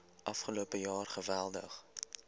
afgelope jaar geweldig